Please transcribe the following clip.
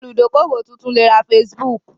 Olùdókówò tuntun lè ra Facebook